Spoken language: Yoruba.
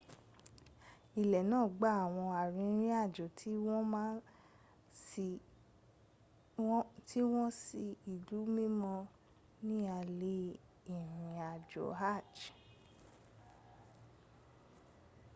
ilé náà gba àwọn arìnrìnàjò tí wọ́n wá sí ilú mímọ́ ní alẹ́ ìrìnàjò hajj